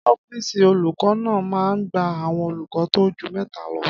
Ọ́fìsì olùkọ́ náà máa n gba àwọn olùkọ́ tó ju mẹ́ta lọ